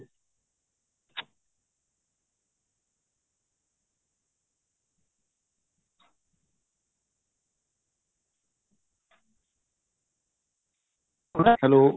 hello